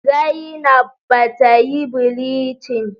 Zainab bata yi bilincin